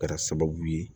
Kɛra sababu ye